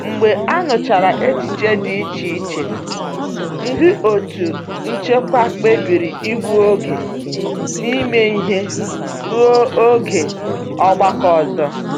Mgbe a nụchara echiche dị iche iche, ndị otu nchịkwa kpebiri ịgbu oge n'ime ihe ruo oge ọgbakọ ọzọ.